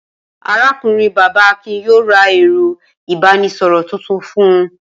Arákùnrin-bàbá Akin yóò ra ẹ̀rọ-ìbánisọ̀rọ̀ tuntun fún un.